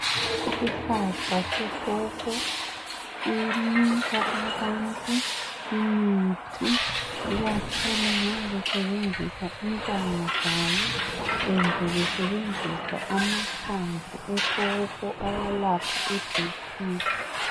Isihlahla se pawpaw sinika abantu imithi ikakhulu nxa besebenzisa intanga zalo kumbe besebenzisa amahlamvu e pawpaw ayalapha I BP